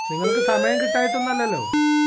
നിങ്ങൾക്ക് സമയം കിട്ടായിട്ടൊന്നല്ലല്ലോ